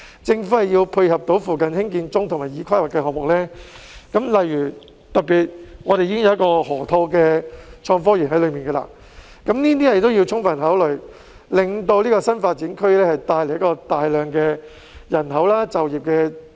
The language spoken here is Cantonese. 政府要配合附近興建中及已規劃的項目，例如河套創科園，加以充分考慮，令這個新發展區能帶來大量人口和增加就業。